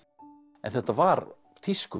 en þetta var